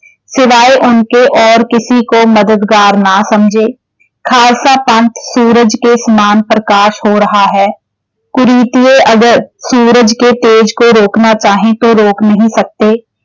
ਸਿਵਾਏ ਉਨਕੇ ਔਰ ਕਿਸੀ ਕੋ ਮਦਦਗਾਰ ਨਾ ਸਮਝੇ। ਖਾਲਸਾ ਪੰਥ ਸੂਰਜ ਕੇ ਸਮਾਨ ਪ੍ਰਕਾਸ਼ ਹੋ ਰਹਾ ਹੈ ਕੁੁਰੀਤੀਏ ਅਗਰ ਸੂਰਜ ਕੇ ਤੇਜ ਕੋ ਰੋਕਣਾ ਚਾਹੇਂ ਤੋ ਰੋਕ ਨਹੀਂ ਸਕਤੇ।